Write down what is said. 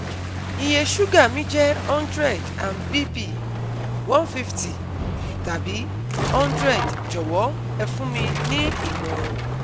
Iye sùúgà mi jẹ́ undred and BP: one fifty tàbí hundred Jọ̀wọ́ ẹ fún mi ní ìmọ̀ràn